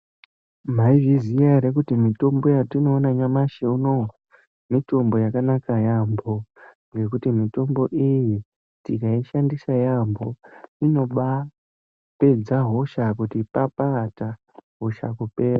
Maizviziya ere kuti mitombo yetinoona nyamashi unowu mitombo yakanaka yamho ngekuti mitombo iyi tikaishandisa yamho inobapedza hosha kuti papata hosha kupera.